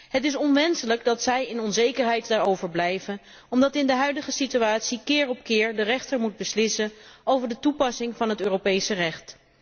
Het is onmenselijk dat zij in onzekerheid daarover blijven omdat in de huidige situatie keer op keer de rechter moet beslissen over de toepassing van het Europese recht.